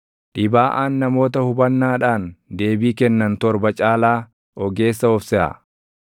Dhibaaʼaan namoota hubannaadhaan deebii kennan torba caalaa ogeessa of seʼa.